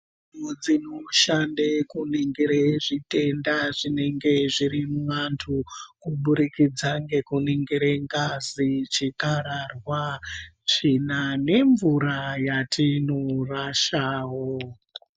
Mudzi kushande kuningira zvitenda zvinenge zviri muantu, kuburikidze ngekuningire ngazi chikararwa tsvina nemvura yatinorashawo.